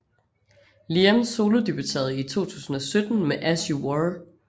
Liam solodebuterede i 2017 med As You Were